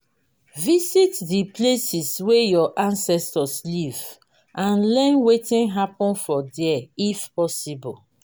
visit the places wey your ancestors live and learn wetin happen for there if possible